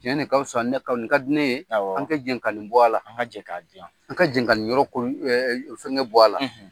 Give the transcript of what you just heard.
Tiɲɛ de ka fusa ne ka ni ka di ne ye . Awɔ. An ka jɛn ka ni bɔ a la. An ka jɛn k'a dilan. An ka jɛn ka nin yɔrɔ ko fɛngɛ bɔ a la.